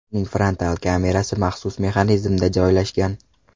Uning frontal kamerasi maxsus mexanizmda joylashgan.